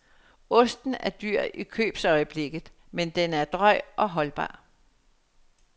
Osten er dyr i købsøjeblikket, men den er drøj og holdbar.